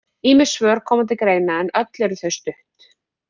Ýmis svör koma til greina en öll eru þau stutt.